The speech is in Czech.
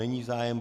Není zájem.